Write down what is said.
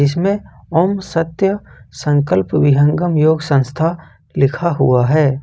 इसमें ओम सत्य संकल्प विहंगम योग संस्था लिखा हुआ है।